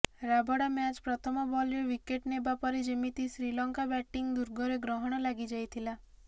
Rabada ମ୍ୟାଚ୍ର ପ୍ରଥମ ବଲ୍ରେ ଓ୍ବିକେଟ୍ ନେବା ପରେ ଯେମିତି ଶ୍ରୀଲଙ୍କା ବ୍ୟାଟିଂ ଦୁର୍ଗରେ ଗ୍ରହଣ ଲାଗି ଯାଇଥିଲା